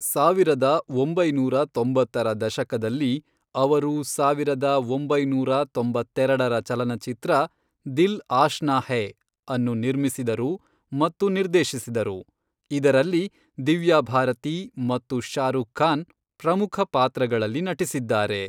ಸಾವಿರದ ಒಂಬೈನೂರ ತೊಂಬತ್ತರ ದಶಕದಲ್ಲಿ, ಅವರು ಸಾವಿರದ ಒಂಬೈನೂರ ತೊಂಬತ್ತೆರೆಡರ ಚಲನಚಿತ್ರ, ದಿಲ್ ಆಶ್ನಾ ಹೈ, ಅನ್ನು ನಿರ್ಮಿಸಿದರು ಮತ್ತು ನಿರ್ದೇಶಿಸಿದರು, ಇದರಲ್ಲಿ ದಿವ್ಯಾ ಭಾರತಿ ಮತ್ತು ಶಾರುಖ್ ಖಾನ್ ಪ್ರಮುಖ ಪಾತ್ರಗಳಲ್ಲಿ ನಟಿಸಿದ್ದಾರೆ.